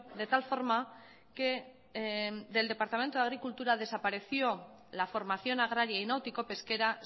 de tal forma que del departamento de agricultura desapareció la formación agraria y náutico pesquera